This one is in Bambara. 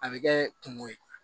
A bɛ kɛ kungo ye